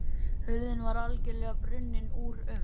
Hurðin var algjörlega brunnin úr um